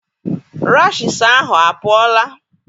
Rashiisi ahụ apụọla?